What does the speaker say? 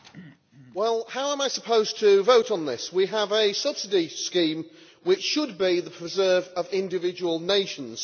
Mr President, how am I supposed to vote on this? We have a subsidy scheme which should be the preserve of individual nations.